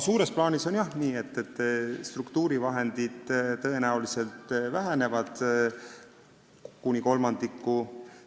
Suures plaanis on nii, et struktuurivahendid tõenäoliselt vähenevad kuni kolmandiku.